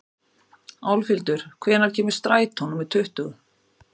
Álfhildur, hvenær kemur strætó númer tuttugu?